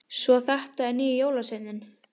Svo þetta er nýji jólasveininn!